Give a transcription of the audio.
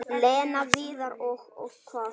Lena, Viðar og- Og hvað?